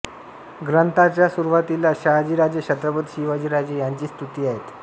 ग्रंथाचा सुरुवातीला शहाजी राजे छत्रपती शिवाजी राजे यांची स्तुती आहे